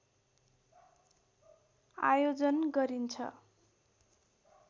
आयोजन गरिन्छ